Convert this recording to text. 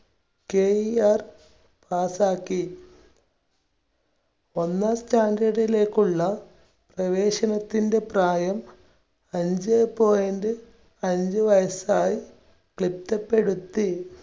KERpass ക്കി. ഒന്നാം standard ലേക്കുള്ള പ്രവേശനത്തിന്റെ പ്രായം അഞ്ചേ point അഞ്ച് വയസ്സായി തിട്ടപ്പെടുത്തി.